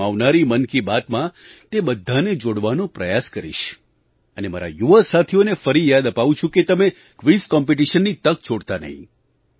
હું આવનારી મન કી બાતમાં તે બધાને જોડવાનો પ્રયાસ કરીશ અને મારા યુવા સાથીઓને ફરી યાદ અપાવું છું કે તમે ક્વિઝ કોમ્પિટિશનની તક છોડતા નહીં